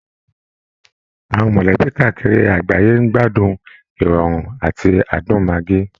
Àwọn mọ̀lẹ́bí káàkiri àgbáyé ń gbádùn ìrọ̀rùn àti adùn maggi